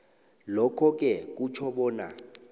lokhoke kutjho bona